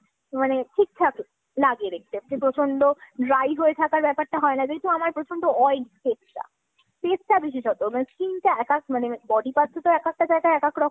মানে ঠিকঠাক লাগে দেখতে। প্রচন্ড dry হয়ে থাকার ব্যাপারটা হয় না। যেহেতু আমার প্রচন্ড oil । face টা, বিশেষতঃ মানে skin টা এক এক মানে body parts এর তো এক একটা জায়গায় এক এক রকম